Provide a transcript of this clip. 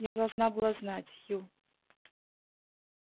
я должна была знать ю